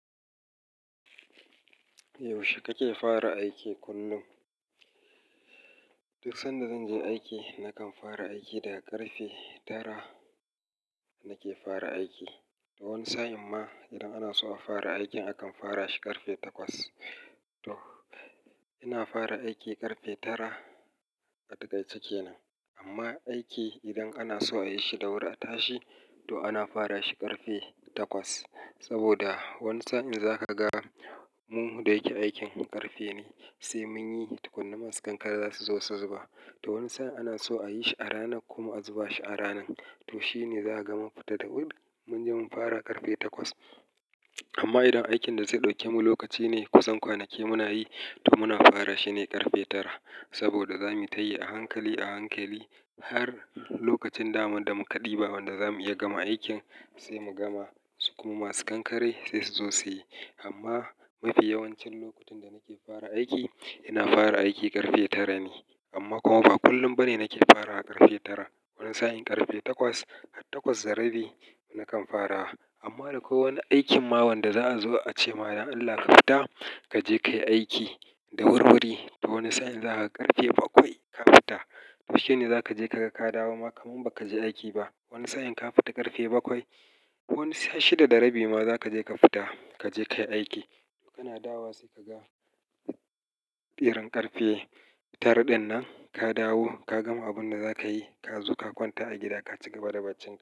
Yaushe kake fara aiki kullum? Duk sanda zan je ni aiki, nakan fara aiki da ƙarfe tara nake fara aiki. Wani sa'in ma idan ana so a fara aikin akan fara shi ƙarfe takwas. To ina fara aiki ƙarfe tara a taƙaice kenan. Amma aiki idan ana so a yi shi da wuri a tashi, to ana fara shi ƙarfe takwas. Saboda wani sa'in za ka ga mu da yake aikin ƙarfe ne sai mun yi tukuna masu kankare za su zo su zuba. To wani sa'in ana so a yi shi a ranan kuma a zuba shi a ranan. To shi ne za a gama mun fita da wuri mun je mun fara ƙarfe takwas. Amma idan aikin da zai ɗauke mu lokaci ne kusan kwanaki muna yi, to muna fara shi ne ƙarfe tara. Saboda za mu yi ta yi a hankali a hankali har lokacin daman da muka ɗiba wanda za mu iya gama aikin sai mu gama. Su kuma masu kankare sai su zo su yi. Amma mafi yawancin lokutan da nake fara aiki ina fara aiki ƙarfe tara ne. Amma kuma ba kullum bane nake farawa ƙarfe tara. Wani sa'in ƙarfe takwas, har takwas da rabi na kan farawa. Amma da kowani aikin ma wanda za'a zo a ce ma da Allah ka fita kaje kayi aiki da wurwuri. To wani sa'in za ka ƙarfe bakwai ka fita. To shine za ka je ka ga ka dawo ma kaman ba ka je aiki ba. Wani sa'in ka fita ƙarfe bakwai. Wani shida da rabi ma za ka je ka fita kaje kayi aiki. Kana dawowa sai ka ga irin ƙarfe tara ɗinnan ka dawo ka gama abun da za ka yi ka zo ka kwanta a gida ka ci gaba da baccin ka.